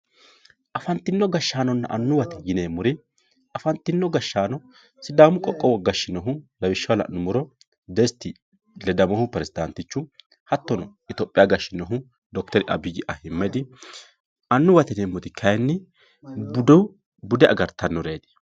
afantino gashshaanonna annuwate yineemmori afantino gashshaano sidaamu qoqqowo gashshinohu lawishshaho la'nummoha desti ledamohu peresdaantichu hattono itiyoophoyaa gashshinohu d/r abiyyi ahiimmedi annuwate yineemmori kayiinni bude agartannoreeti.